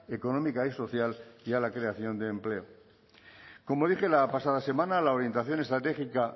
económica y social y a la creación de empleo como dije la pasada semana la orientación estratégica